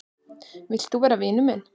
Vilt þú vera vinur minn?